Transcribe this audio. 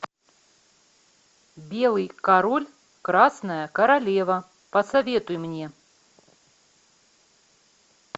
белый король красная королева посоветуй мне